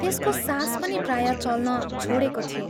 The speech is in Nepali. त्यसको सास पनि प्रायः चल्न छोडेको थियो।